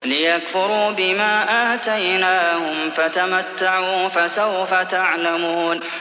لِيَكْفُرُوا بِمَا آتَيْنَاهُمْ ۚ فَتَمَتَّعُوا فَسَوْفَ تَعْلَمُونَ